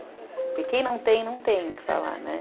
E quem não tem, não tem o que falar, né?